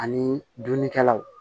Ani dunnikɛlaw